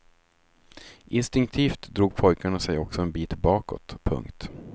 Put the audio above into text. Instinktivt drog pojkarna sig också en bit bakåt. punkt